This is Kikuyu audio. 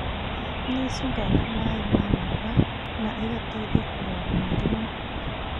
Nĩicungaga maĩ ma mahuha na igateithia kũrũa na mũrimũ